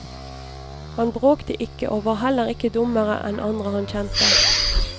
Han bråkte ikke og var heller ikke dummere enn andre han kjente.